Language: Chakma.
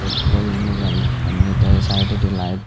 petrol nejal donni tey saidwdi light.